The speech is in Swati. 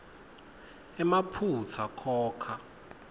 emaphutsa khokha